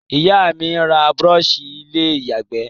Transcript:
Ìyá mí n ra brush ilé ìyàgbé